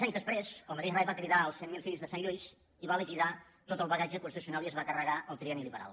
prés el mateix rei va cridar els cent mil fills de sant lluís i va liquidar tot el bagatge constitucional i es va carregar el trienni liberal